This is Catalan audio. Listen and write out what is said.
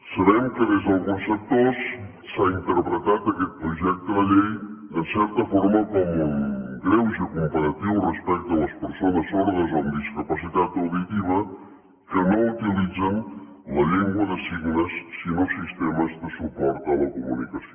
sabem que des d’alguns sectors s’ha interpretat aquest projecte de llei en certa forma com un greuge comparatiu respecte a les persones sordes o amb discapacitat auditiva que no utilitzen la llengua de signes sinó sistemes de suport a la comunicació